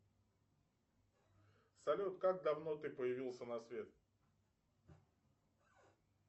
салют как давно ты появился на свет